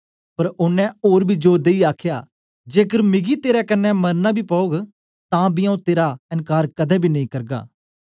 पर ओनें ओर बी जोर देईयै आखया जेकर मिगी तेरे कन्ने मरना बी पौग तां बी आऊँ तेरा एनकार कदें बी नेई करगा